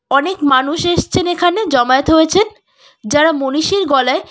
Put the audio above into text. অনেক মানুষ এসছেন এখানে জমায়েত হয়েছেন যারা মনীষীর গলায়--